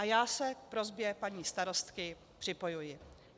A já se k prosbě paní starostky připojuji.